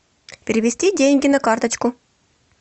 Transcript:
перевести деньги на карточку